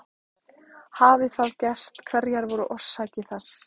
Hafi það gerst hverjar voru orsakir þess?